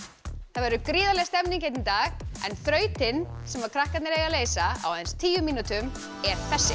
það verður gríðarleg stemning hérna í dag en þrautin sem krakkarnir eiga að leysa á aðeins tíu mínútum er þessi